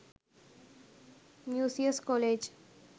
musaeus college